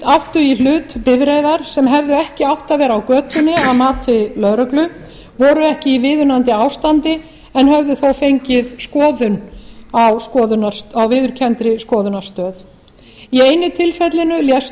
áttu í hlut bifreiðar sem hefðu ekki átt að vera á götunni að mati lögreglu voru ekki í viðunandi ástandi en höfðu þó fengið skoðun á viðurkenndri skoðunarstöð í einu tilfellinu lést